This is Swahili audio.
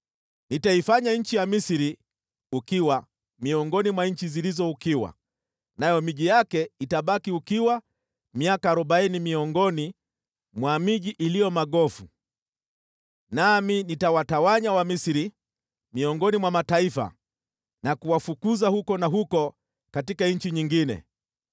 Nitaifanya nchi ya Misri ukiwa, miongoni mwa nchi zilizo ukiwa, nayo miji yake itabaki ukiwa miaka arobaini miongoni mwa miji iliyo magofu. Nami nitawatawanya Wamisri miongoni mwa mataifa na kuwafukuza huku na huko katika nchi nyingine.